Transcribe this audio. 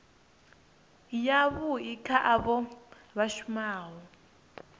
yavhui kha avho vha shumaho